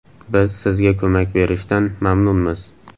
Biz sizga ko‘mak berishdan mamnunmiz.